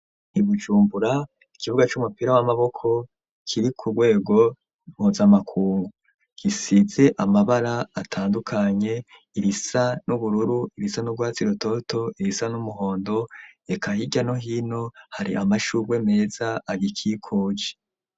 I Bujumbura ikibuga c'umupira w'amaboko kiri ku rwego mpuzamakungu gisize amabara atandukanye; irisa n'ubururu, ibisa n'ubwatsi rutoto irisa n'umuhondo reka hirya no hino hari amashurwe meza agikikuje.